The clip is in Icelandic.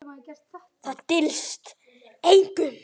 Það dylst engum.